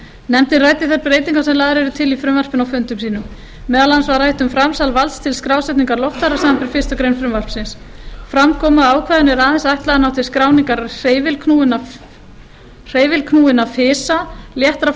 nefndin ræddi þær breytingar sem lagðar er til í frumvarpinu á fundum sínum meðal annars var rætt um framsal valds til skrásetningar loftfara samanber fyrstu grein frumvarpsins fram kom að ákvæðinu er aðeins ætlað að ná til skráningar hreyfilknúinna fisa léttra